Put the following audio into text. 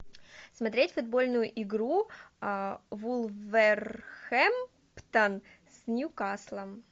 смотреть футбольную игру вулверхэмптон с ньюкаслом